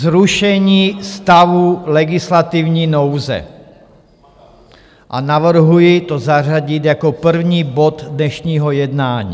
Zrušení stavu legislativní nouze a navrhuji to zařadit jako první bod dnešního jednání.